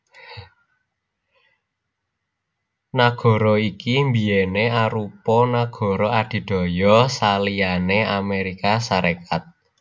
Nagara iki biyèné arupa nagara adidaya saliyané Amérika Sarékat